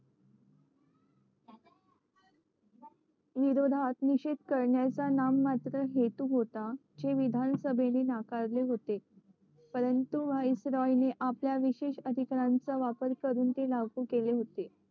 विरोधात निषेध करण्याचा नाममात्र हेतू होता जे विधानसभेने नाकारले होते परंतु व्हाईस रॉय ने आपल्या विशेष अधिकारांचा वापर करून ते लागू केले होते